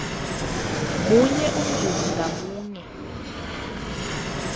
linye umzuzi ngamunye